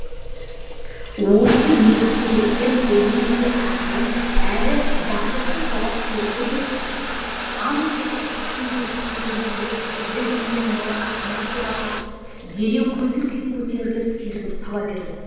осы екі себеппен ол өте ақырын әрі батылсыз жауап берді де аң кеудеше киген жентльмен мұны ақымақ деп атап дереу көңіл күйі көтеріліп сергіп сала берді